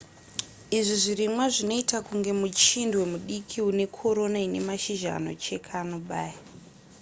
izvi zvirimwa zvinoita kunge muchindwe mudiki unekorona inemashizha anocheka anobaya